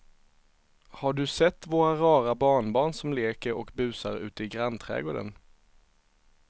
Har du sett våra rara barnbarn som leker och busar ute i grannträdgården!